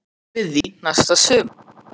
Munum við ræða aftur við því næsta sumar?